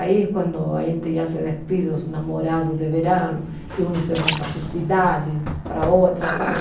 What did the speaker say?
Aí é quando a gente já se despida os namorados de verão, que uns se vão para a sua cidade, para outra, sabe?